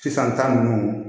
Sisan ta nunnu